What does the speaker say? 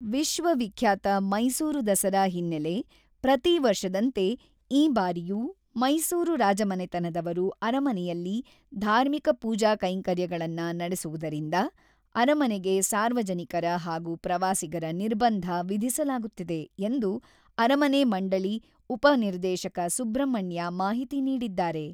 """ವಿಶ್ವವಿಖ್ಯಾತ ಮೈಸೂರು ದಸರಾ ಹಿನ್ನೆಲೆ ಪ್ರತಿ ವರ್ಷದಂತೆ ಈ ಬಾರಿಯೂ ಮೈಸೂರು ರಾಜಮನೆತನದವರು ಅರಮನೆಯಲ್ಲಿ ಧಾರ್ಮಿಕ ಪೂಜಾ ಕೈಂಕರ್ಯಗಳನ್ನ ನಡೆಸುವುದರಿಂದ ಅರಮನೆಗೆ ಸಾರ್ವಜನಿಕರ ಹಾಗೂ ಪ್ರವಾಸಿಗರ ನಿರ್ಬಂಧ ವಿಧಿಸಲಾಗುತ್ತಿದೆ"" ಎಂದು ಅರಮನೆ ಮಂಡಳಿ ಉಪ ನಿರ್ದೇಶಕ ಸುಬ್ರಹ್ಮಣ್ಯ ಮಾಹಿತಿ ನೀಡಿದ್ದಾರೆ."